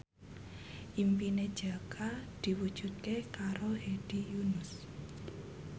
impine Jaka diwujudke karo Hedi Yunus